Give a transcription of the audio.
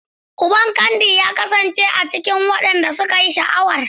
Uban Candy ya kasance a bakin wadanda suka yi sha'awar.